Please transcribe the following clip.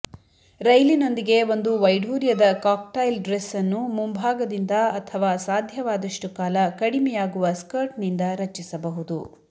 ರೈಲಿನೊಂದಿಗೆ ಒಂದು ವೈಡೂರ್ಯದ cocktail dress ಅನ್ನು ಮುಂಭಾಗದಿಂದ ಅಥವಾ ಸಾಧ್ಯವಾದಷ್ಟು ಕಾಲ ಕಡಿಮೆಯಾಗುವ ಸ್ಕರ್ಟ್ನಿಂದ ರಚಿಸಬಹುದು